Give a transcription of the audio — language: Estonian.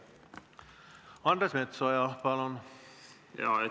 Andres Metsoja, palun!